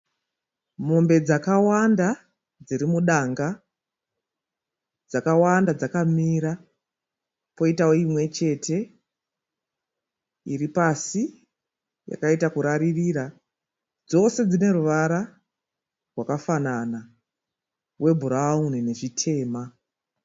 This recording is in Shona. Mombe dzakawanda dzirimudanga. Dzakawanda dzakamira. Poitawo imwechete iripasi yakaita kuraririra. Dzose dzine ruvara rwakafanana rwebhurawuni nezvitema.